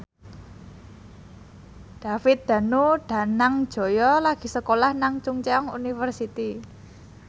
David Danu Danangjaya lagi sekolah nang Chungceong University